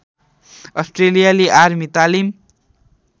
अस्ट्रेलियाली आर्मी तालिम